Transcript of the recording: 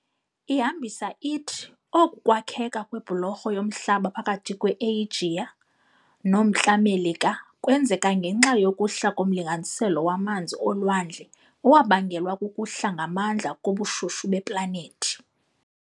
ihambisa ithi oku kwakheka kwebholorho yomhlaba phakathi kwe-Eyijiya noMntla Melika kwenzeka ngenxa yokuhla komlinganiselo wamanzi olwandle owabangelwa kukuhla ngamandla kobushushu beplanethi.